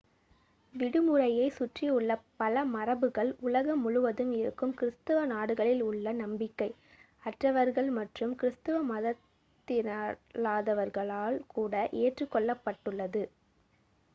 விடுமுறையைச் சுற்றியுள்ள பல மரபுகள் உலகம் முழுவதும் இருக்கும் கிறிஸ்தவ நாடுகளில் உள்ள நம்பிக்கை-அற்றவர்கள் மற்றும் கிறிஸ்தவ மதத்தினரல்லாதவர்களாலும் கூட ஏற்றுக்கொள்ளப்பட்டுள்ளது